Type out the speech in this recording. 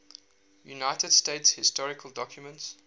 united states historical documents